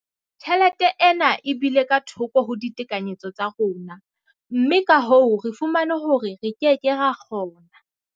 Tjhelete ena e bile ka thoko ho ditekanyetso tsa rona, mme ka hoo re fumane hore re ke ke ra kgona.